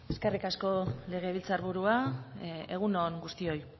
eskerrik asko legebiltzar burua egun on guztioi